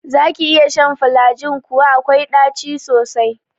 Zaki iya shan falajin kuwa? akwai ɗaci sosai.